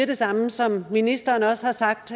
det samme som ministeren også har sagt